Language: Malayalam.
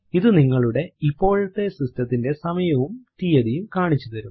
ഇത് നിങ്ങളുടെ ഇപ്പോഴത്തെ സിസ്റ്റത്തിന്റെ സമയവും തീയതിയും കാണിച്ചു തരും